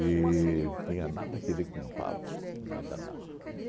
tinha nada que ver com padre, nada, nada.